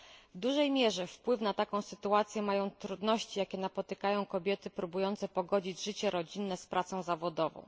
W dużej mierze wpływ na taką sytuację mają trudności, jakie napotykają kobiety próbujące pogodzić życie rodzinne z pracą zawodową.